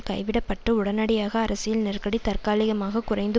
கைவிடப்பட்டு உடனடியான அரசியல் நெருக்கடி தற்காலிகமாகக் குறைந்து